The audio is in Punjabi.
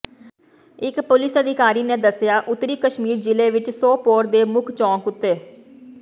ਇਕ ਪੁਲਿਸ ਅਧਿਕਾਰੀ ਨੇ ਦੱਸਿਆ ਉਤਰੀ ਕਸ਼ਮੀਰ ਜ਼ਿਲ੍ਹੇ ਵਿਚ ਸੋਪੋਰ ਦੇ ਮੁੱਖ ਚੌਕ ਉਤੇ